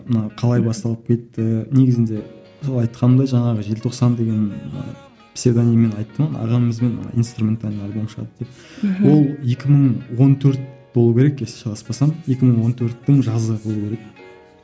мына қалай басталып кетті негізінде сол айтқанымдай жаңағы желтоқсан деген псевдониммен айттым ағамызбен инструментальный альбом шығады деп мхм ол екі мың он төрт болу керек если шатаспасам екі мың он төрттің жазы болу керек